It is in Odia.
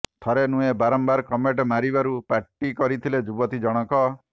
ଥରେ ନୁହେଁ ବାରମ୍ବାର କମେଣ୍ଟ ମାରିବାରୁ ପାଟି କରିଥିଲେ ଯୁବତୀ ଜଣଙ୍କ